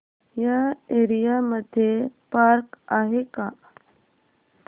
या एरिया मध्ये पार्क आहे का